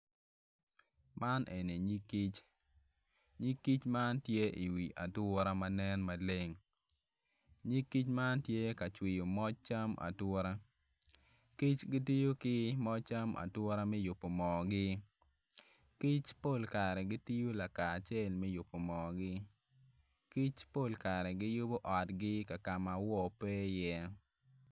Man eni nyig kic nyig kic man tye i wi ature ma nen maleng nyig kic man tye ka cwiyo moc cam ature kic gitiyo ki moc cam ature me yubo mogi kic pol kare gitiyo lakacel me yubo moogi kic pol kare giyubo otgi ka mawoo pe iye.